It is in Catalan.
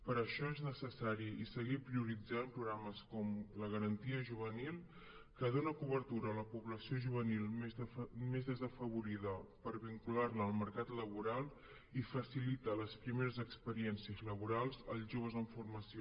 per això és necessari seguir prioritzant programes com la garantia juvenil que dona cobertura a la població juvenil més desafavorida per vincular la al mercat laboral i facilita les primeres experiències laborals als joves en formació